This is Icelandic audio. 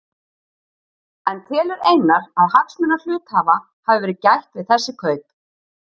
En telur Einar að hagsmuna hluthafa hafi verið gætt við þessi kaup?